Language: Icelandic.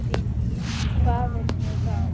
Hvað viljum við þá?